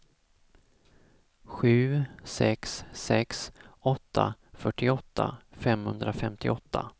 sju sex sex åtta fyrtioåtta femhundrafemtioåtta